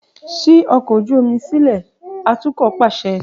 Ṣii silẹ ọkọ̀ ojú omi atukọ paṣẹ!